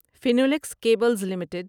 Finolex cables limited